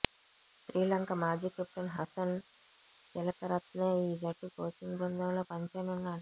శ్రీలంక మాజీ కెప్టెన్ హసన్ తిలకరత్నే ఈ జట్టు కోచింగ్ బృందంలో పనిచేయనున్నాడు